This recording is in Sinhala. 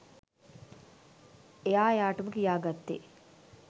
එයා එයාටම කියාගත්තේ